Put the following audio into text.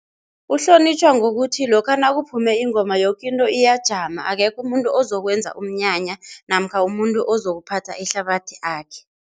Uhlonitjhwa ngokuthi lokha nakuphume ingoma yoke into iyajama, akekho umuntu ozokwenza umnyanya namkha umuntu ozokuphatha ihlabathi akhe.